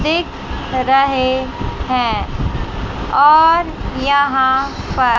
एक हरा है हैं और यहां पर--